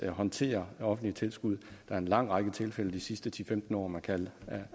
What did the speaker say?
at håndtere offentlige tilskud der en lang række tilfælde de sidste ti til femten år man kan